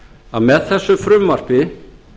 að með þessu frumvarpi